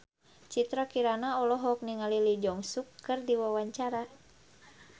Citra Kirana olohok ningali Lee Jeong Suk keur diwawancara